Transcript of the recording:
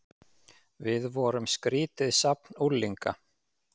Við vorum skrýtið safn unglinga.